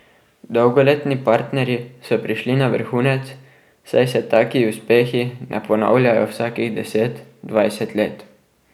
Dolgoletni partnerji so prišli na vrhunec, saj se taki uspehi ne ponavljajo vsakih deset, dvajset let.